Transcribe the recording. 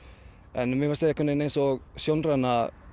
en mér fannst eins og sjónræna